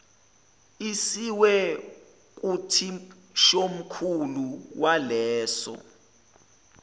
isiwe kuthishomkhulu waleso